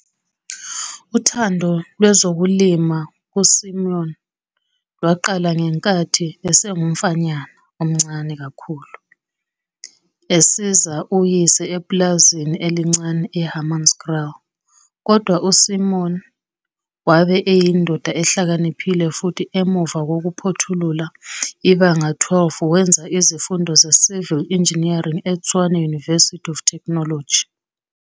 Uthando lwezolimo kuSimon lwaqala ngenkathi, esengumfanyana omncane kakhulu, esiza uyise epulazini elincane e-Hammanskraal. Kodwa uSimon wabe eyindoda ehlakaniphile futhi emuva kokuphothula iBanga 12 wenza izifundo ze-Civil Engeneering eTshwane University of Technology.